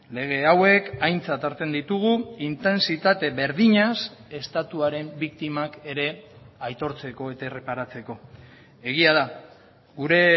lege hauek aintzat hartzen ditugu intentsitate berdinaz estatuaren biktimak ere aitortzeko eta erreparatzeko egia da gure